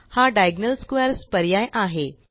हा diagonal squares पर्याय आहे